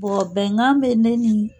bɛnkan bɛ ne ni